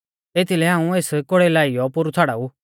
एथीलै हाऊं एस कोड़ै लौआइयौ पोरु छ़ाड़ाऊ